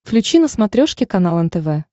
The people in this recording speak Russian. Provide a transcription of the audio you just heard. включи на смотрешке канал нтв